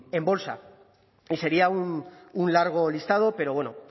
en bolsa y sería un largo listado pero bueno